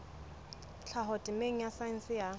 tlhaho temeng ya saense ya